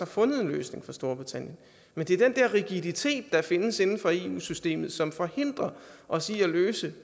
fundet en løsning for storbritannien men det er den der rigiditet der findes inden for eu systemet som forhindrer os i at løse